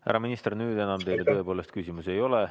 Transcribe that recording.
Härra minister, nüüd teile enam tõepoolest küsimusi ei ole.